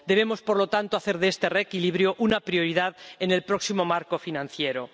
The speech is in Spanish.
Debemos, por lo tanto, hacer de este reequilibrio una prioridad en el próximo marco financiero.